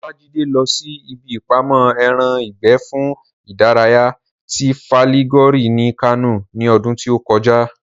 Olájídé lọ sí ibi ìpamọ́ ẹran ìgbẹ́ fún ìdárayá ti Fàlígòre ní Kánò ní ọdún tí ó kọjá